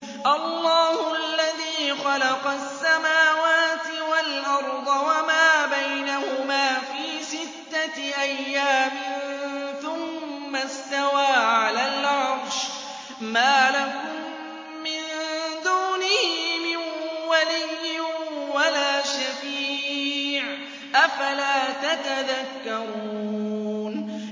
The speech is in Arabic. اللَّهُ الَّذِي خَلَقَ السَّمَاوَاتِ وَالْأَرْضَ وَمَا بَيْنَهُمَا فِي سِتَّةِ أَيَّامٍ ثُمَّ اسْتَوَىٰ عَلَى الْعَرْشِ ۖ مَا لَكُم مِّن دُونِهِ مِن وَلِيٍّ وَلَا شَفِيعٍ ۚ أَفَلَا تَتَذَكَّرُونَ